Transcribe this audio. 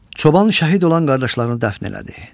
Çoban şəhid olan qardaşlarını dəfn elədi.